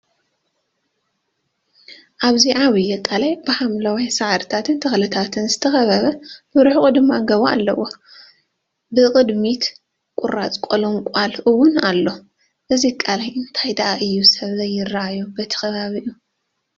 ሓደ ዓብይ ቃላይ ብሓምለዎት ሳዕርታትን ተኽልታትን ዝተኸበበ ብርሑቕ ድማ ገቦ ኣለዎ፡፡ ብቕድሚት ቁራፅ ቆልቋል ውን ኣላ፡፡ እዚ ቃላይ እንታይ ዳኣ እዩ ሰብ ዘይራኣይ በቲ ከባቢኡ